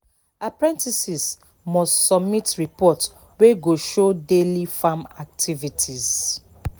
apprentices must submit report wey go show daily farm activities